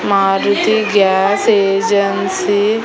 Maruti gas agency --